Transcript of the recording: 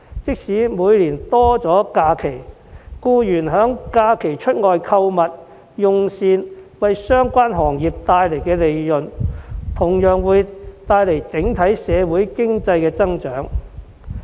即使每年多了假期，但僱員在假期外出購物和用膳而為相關行業帶來的利潤，同樣會帶來整體社會經濟增長。